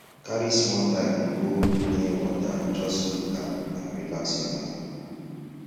carry small time go near water just look am and relax your mind